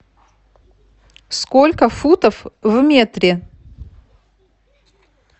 сколько футов в метре